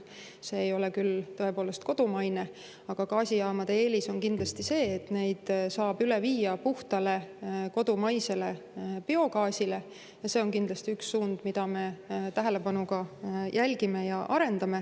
See ei ole küll kodumaine, aga gaasijaamade eelis on kindlasti see, et neid saab üle viia puhtale kodumaisele biogaasile, ja see on kindlasti üks suund, mida me tähelepanuga jälgime ja arendame.